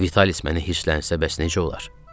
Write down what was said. Vialis məni hisslənsə bəs necə olar?